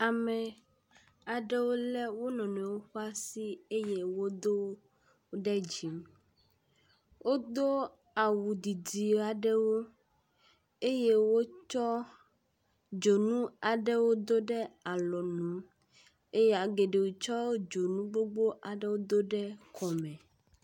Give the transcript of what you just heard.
Ame aɖewo lé wo nɔnɔewo ƒe asi do ɖe dzi. Wodo awu didi aɖewo eye wotsɔ dzonu aɖewo do ɖe alɔnu ye geɖewo tsɔ dzonu gbogbo aɖewo do ɖe kɔme.